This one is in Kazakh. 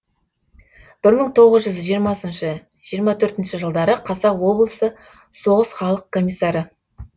бір мың тоғыз жүз жиырмасыншы жиырма төртінші жылдары қазақ облысы соғыс халық комиссары